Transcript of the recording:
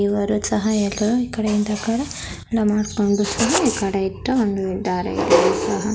ಇವರ ಸಹಾಯಕ ಈಕಡೆ ಇಂದ --